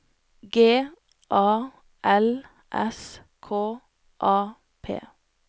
G A L S K A P